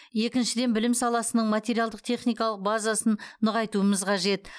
екіншіден білім саласының материалдық техникалық базасын нығайтуымыз қажет